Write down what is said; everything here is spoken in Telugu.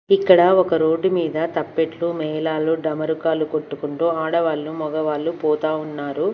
ఇక్కడ ఒక రోడ్డు మీద తప్పెట్లు మేళాలు డమరుకాలు కొట్టుకుంటూ ఆడవాళ్లు మొగవాళ్ళు పోతా ఉన్నారు.